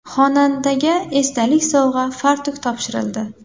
Xonandaga esdalik sovg‘a fartuk topshirildi.